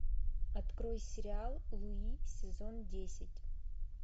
открой сериал луи сезон десять